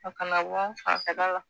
A kana wa a fanfɛla la.